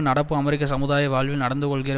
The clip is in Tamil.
நடப்பு அமெரிக்க சமுதாய வாழ்வில் நடந்துகொள்ளுகிற